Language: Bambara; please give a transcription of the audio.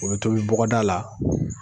O bɛ tobi bɔgɔda la